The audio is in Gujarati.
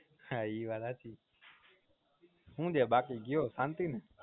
હા એ વાત હાચી હું છે બાકી કયો શાંતિ ને